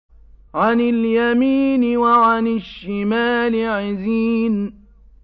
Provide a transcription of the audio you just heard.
عَنِ الْيَمِينِ وَعَنِ الشِّمَالِ عِزِينَ